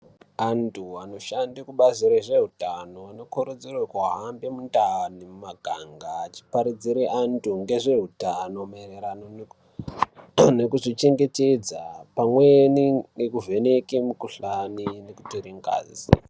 Antu anoshande kubazi rezveutano anokurudzirwe kuhambe mundani mumakanga achiparidzire antu ngezveutano maererano nekuzvichengetedza pamweni nekuvheneke mukuhlani nekutiringazi.